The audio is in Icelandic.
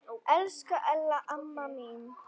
Elsku Ella amma mín.